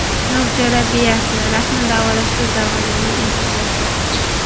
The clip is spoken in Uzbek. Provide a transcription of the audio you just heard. Nur terapiyasi: rakni davolashda zamonaviy imkoniyatlar.